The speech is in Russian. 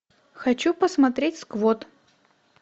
хочу посмотреть сквот